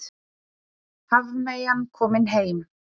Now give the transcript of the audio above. Hafmeyjan komin heim